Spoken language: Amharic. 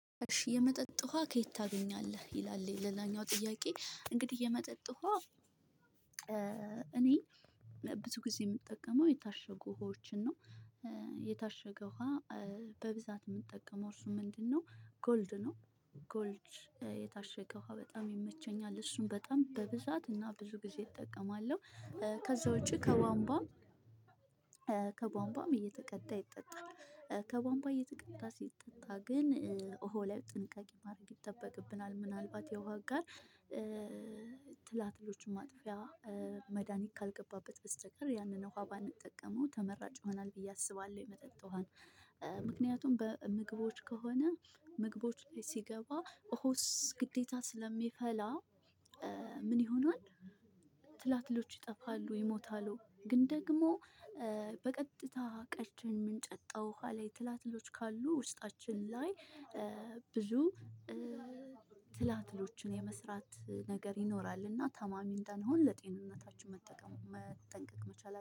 እሺ የመጠጥ ውሃ ከየት ታገኛለህ? ይላል ሌላኛው ጥያቄ እንግዲህ የመጠጥ ውሃ እኔ ብዙ ጊዜ የምጠቀመው የታሸጉ ውሃዎችን ነው። የታሸገው ውሃ በብዛት የምንጠቀመው እሱ ምንድነው ጎልድ ነው። ጎልድ የታሸገ ውሃ በጣም ይመቸኛል። እሱን በጣም በብዛት እና ብዙ ጊዜ እጠቀማለሁ። ከዛ ውጪ ከቧንባም እየተቀዳ ይጠጣል ከቧንቧ እየተቀዳ ሲጠጣ ግን ውሃው ላይ ጥንቃቄ ማድረግ ይጠበቅብናል። ምናልባት የውሃ ጋር ትላትሎቹን ማጥፊያ መድሃኒት ካልገባበት በስተቀር ያንን ውሃ ባንጠቀመው ተመራጭ ይሆናል ብዬ አስባለሁ። የመጠጥ ውሃን ምክንያቱም በምግቦች ከሆነ ምግቦች ላይ ሲገባ ውሃ ውስጥ ግዴታ ስለሚፈላ ምን ይሆናል ትላትሎች ይጠፋሉ ይሞታሉ ግን ደግሞ በቀጥታ ቀድተን የምንጠጣው ውሃ ላይ ትላትሎች ካሉ ውስጣችን ላይ ብዙ ትላትሎችን የመስራት ነገር ይኖራል እና ታማሚ እንዳንሆን ለጤንነታችን መጠቀም መጠንቀቅ መቻል